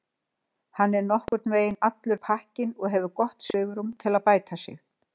Hann er nokkurnveginn allur pakkinn og hefur gott svigrúm til að bæta sig.